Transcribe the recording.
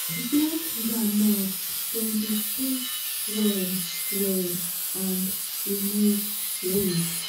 to plant groundnut dem dey space well well and remove weed.